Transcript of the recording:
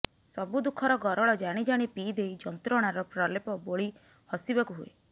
ସବୁ ଦୁଃଖର ଗରଳ ଜାଣି ଜାଣି ପିଇ ଦେଇ ଯନ୍ତ୍ରଣାର ପ୍ରଲେପ ବୋଳି ହସିବାକୁ ହୁଏ